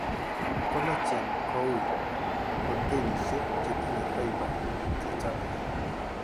Collagen ko ui, protenishek chetinye fiber chechabe